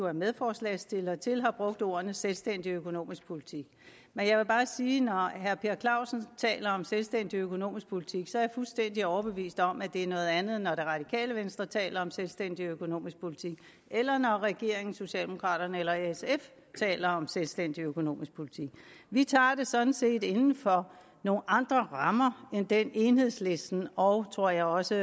er medforslagsstillere til også har brugt ordene selvstændig økonomisk politik men jeg vil bare sige at når herre per clausen taler om selvstændig økonomisk politik så er jeg fuldstændig overbevist om at det er noget andet end når det radikale venstre taler om selvstændig økonomisk politik eller når regeringen socialdemokraterne eller sf taler om selvstændig økonomisk politik vi tager det sådan set inden for nogle andre rammer end dem enhedslisten og tror jeg også